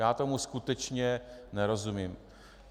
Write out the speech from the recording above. Já tomu skutečně nerozumím.